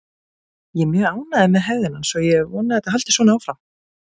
Ég er mjög ánægður með hegðun hans og ég vona að hann haldi svona áfram